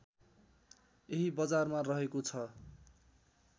यही बजारमा रहेको छ